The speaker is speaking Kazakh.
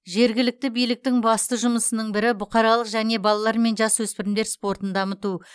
жергілікті биліктің басты жұмысының бірі бұқаралық және балалар мен жасөспірімдер спортын дамыту